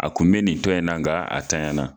A kun be nin tɔ in na, nga a tanya na.